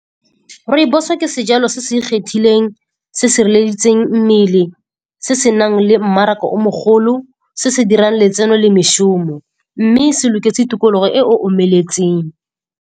Rooibos-o ke sejalo se se ikgethileng, se se sireleditseng mmele, se se nang le mmaraka o mogolo, se se dirang letseno le mešomo. Mme se loketse tikologo e e omeletseng.